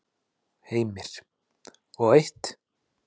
Heimir: Og einmitt.